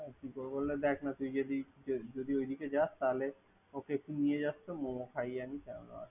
কি করব দেখনা ওই দিখে যাস তাহলে ওকে একটু নিয়ে যাস তো মোমো খাইয়ে আনিস ।